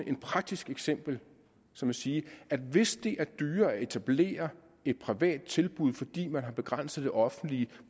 et praktisk eksempel som at sige at hvis det er dyrere at etablere et privat tilbud fordi man har begrænset det offentlige